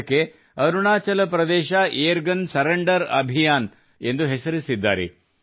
ಅದಕ್ಕೆ Arunachal Pradesh air gun surrender Abhiyan ಎಂದು ಹೆಸರಿಸಿದ್ದಾರೆ